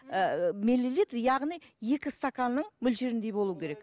ыыы миллилитр яғни екі стаканның мөлшеріндей болуы керек